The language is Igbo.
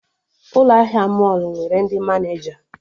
Ụlọ ahịa mọlụ nwere ndị Maneja